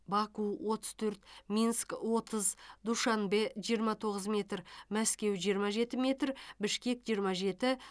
баку отыз төрт минск отыз душанбе жиырма тоғыз метр мәскеу жиырма жеті метр бішкек жиырма жеті